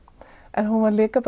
en hún var líka